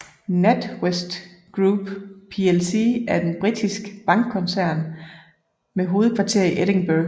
NatWest Group plc er en britisk bankkoncern med hovedkvarter i Edinburgh